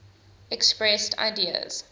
expressed ideas